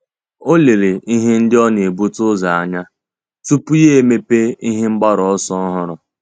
Ọ́ lérè ihe ndị ọ́ nà-ebute ụzọ anya tupu yá èmépé ihe mgbaru ọsọ ọ́hụ́rụ́.